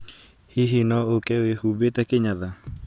Hihi no ũke nja wihumbite kinyatha